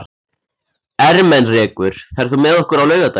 Ermenrekur, ferð þú með okkur á laugardaginn?